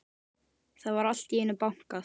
Það var allt í einu bankað.